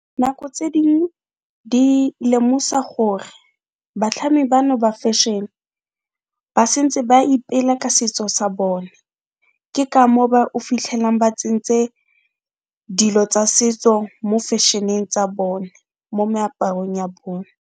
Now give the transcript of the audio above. Nako tse ding di lemosa gore batlhami bano ba fešhene ba sentse ba ipela ka setso sa bone, ke ka mo o fitlhelang ba tsentse dilo tsa setso mo fešheneng tsa bone, mo meaparong ya bone.